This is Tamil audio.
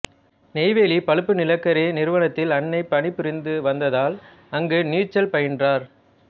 நெய்வேலி பழுப்பு நிலக்கரி நிறுவனத்தில் அன்னை பணி புரிந்து வந்ததால் அங்கு நீச்சல் பயின்றார்